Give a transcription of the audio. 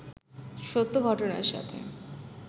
সত্য ঘটনার সাথে